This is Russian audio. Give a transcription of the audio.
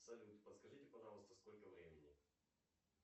салют подскажите пожалуйста сколько времени